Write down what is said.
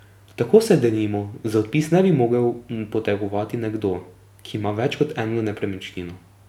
Tako se denimo za odpis ne bi mogel potegovati nekdo, ki ima več kot eno nepremičnino.